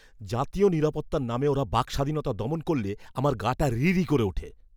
জাতীয় নিরাপত্তার নামে ওরা বাকস্বাধীনতা দমন করলে আমার গাটা রিরি করে ওঠে।